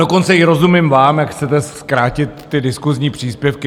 Dokonce i rozumím vám, jak chcete zkrátit ty diskusní příspěvky.